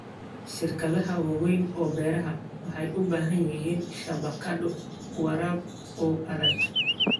Shirkadaha waaweyn ee beeraha waxay u baahan yihiin shabakado waraab oo adag.